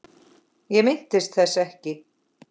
Ég minnist þess ekki.